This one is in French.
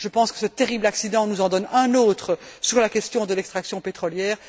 de la même manière, ce terrible accident nous en donne un autre sur la question de l'extraction pétrolière.